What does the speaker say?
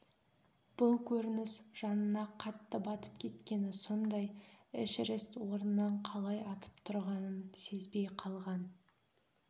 бұл көрініс жанына қатты батып кеткені сондай эшерест орнынан қалай атып тұрғанын сезбей қалған